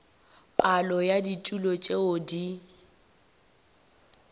palo ya ditulo tšeo di